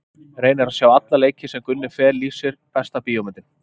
Reyni að sjá alla leiki sem Gunni Fel lýsir Besta bíómyndin?